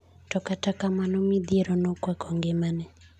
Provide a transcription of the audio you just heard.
To kata kamano midhiero nokwako ngimane.